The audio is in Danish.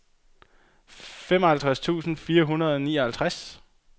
femoghalvtreds tusind fire hundrede og nioghalvtreds